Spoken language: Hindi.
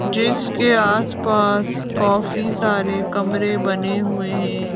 जिसके आसपास काफी सारे कमरे बने हुए है।